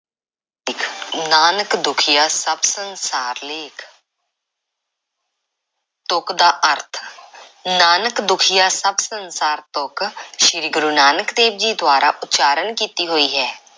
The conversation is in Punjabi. ਨਾਨਕ ਦੁਖੀਆ ਸਭ ਸੰਸਾਰ ਲੇਖ਼ ਤੁਕ ਦਾ ਅਰਥ, ਨਾਨਕ ਦੁਖੀਆ ਸਭ ਸੰਸਾਰ ਤੁਕ, ਸ਼੍ਰੀ ਗੁਰੂ ਨਾਨਕ ਦੇਵ ਜੀ ਦੁਆਰਾ ਉਚਾਰਨ ਕੀਤੀ ਹੋਈ ਹੈ।